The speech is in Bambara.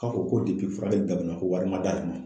K'a ko furakɛli daminɛ ko wari ma d'ale ma.